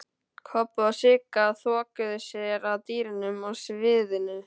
Kobbi og Sigga þokuðu sér að dyrunum að sviðinu.